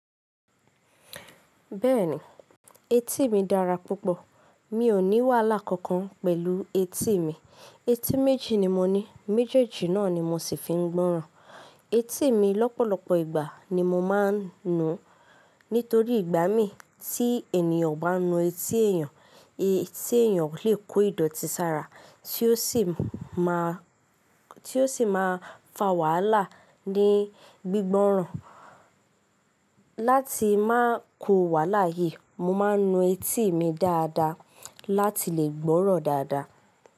Bẹ́ẹ̀ni, etí mi dára púpọ̀. Mi ò ní wàhálà kankan pẹ̀lú etí mi. Etí méjì ni mo ní, méjèèjì náà ni mo sì fi ń gbọ́ràn. Etí mi lọ́pọ̀lọpọ̀ ìgbà ni mo máa ń nu. Nítorí ìgbà mí tí ènìyàn o bá nu etí èèyàn, etí èèyàn lè kó ìdọ̀tí sára tí ó sì máa fà wàhálà ní gbígbọ́ràn. Láti máa ko wàhálà yìí, mo máa ń nu etí mi dáadáa láti lè gbọ́ràn dáadáa.